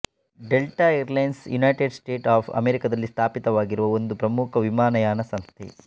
delta Airlines United States of ಅಮೇರಿಕಾದಲ್ಲಿ ಸ್ಥಾಪಿತವಾಗಿರುವ ಒಂದು ಪ್ರಮುಖ ವಿಮಾನಯಾನ ಸಂಸ್ಥೆ